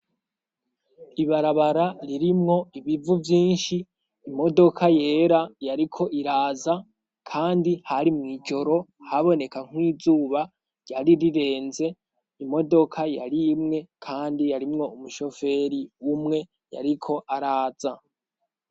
Ibarabara ririmwo ibivu vyinshi imodoka yera yariko iraza kandi hari mw'ijoro haboneka n'izuba ryari rirenze imodoka yarimwe kandi yarimwo umushoferi umwe yariko araza.